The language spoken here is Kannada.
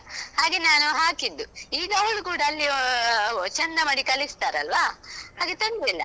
ಹಾಗೆ ನಾನು ಹಾಕಿದ್ದು. ಈಗ ಅವಳು ಕೂಡ ಅಲ್ಲಿ ಚಂದ ಮಾಡಿ ಕಲಿಸ್ತಾರಲ್ವಾ ಹಾಗೆ ತೊಂದ್ರೆ ಇಲ್ಲ.